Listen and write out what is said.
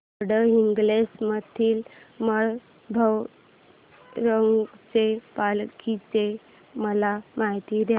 गडहिंग्लज मधील काळभैरवाच्या पालखीची मला माहिती दे